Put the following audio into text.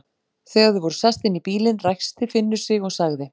Þegar þau voru sest inn í bílinn, ræskti Finnur sig og sagði